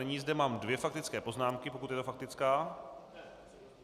Nyní zde mám dvě faktické poznámky - pokud je to faktická?